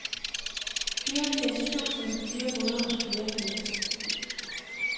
fireogfirs tusind fire hundrede og fireogfirs